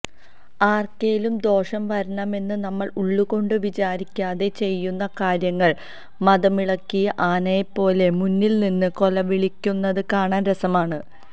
ആര്ക്കേലും ദോഷം വരണമെന്ന് നമ്മള് ഉള്ളുകൊണ്ട് വിചാരിക്കാതെ ചെയ്യുന്ന കാര്യങ്ങള് മദമിളകിയ ആനയെപ്പോലെ മുന്നില്നിന്ന് കൊലവിളിക്കുന്നത് കാണാന് രസമാണ്